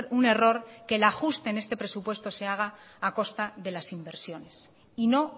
un error que el ajuste en este presupuesto se haga a costa de las inversiones y no